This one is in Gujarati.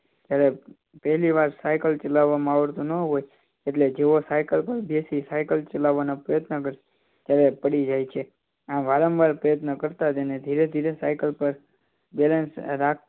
જ્યારે પહેલીવાર સાયકલ ચલાવતામાં આવડતું ન હોય તો જેવો સાઈકલ પર બેસી ને ચડીને સાઈકલ ચલાવના પ્રયત્ન કરતા પડી જાય છે આમ વારંવાર પ્રયત્ન કરતા જઈને ધીરે ધીરે રાખ સાયકલ પર બેલેન્સ